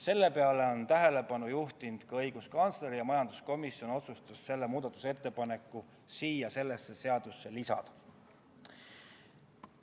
Sellele on tähelepanu juhtinud ka õiguskantsler ja majanduskomisjon otsustas selle muudatusettepaneku eelnõusse lisada.